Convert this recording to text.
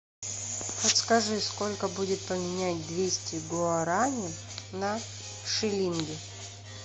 подскажи сколько будет поменять двести гуарани на шиллинги